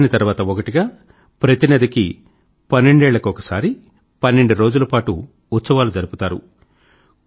ఒకదాని తర్వాత ఒకటిగా ప్రతి నదికీ పన్నెండేళ్ల కొకసారి పన్నెండు రోజుల పాటు ఉత్సవాలు జరుపుతారు